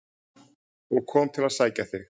og kom til að sækja þig.